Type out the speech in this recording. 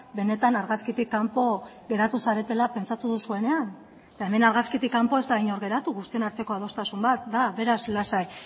benetan argazkitik kanpo geratu zaretela pentsatu duzuenean eta hemen argazkitik kanpo ez da inor geratu guztion arteko adostasun bat da beraz lasai